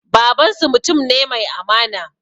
Babansu mutum ne mai amana